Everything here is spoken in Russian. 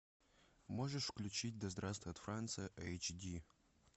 можешь включить да здравствует франция эйч ди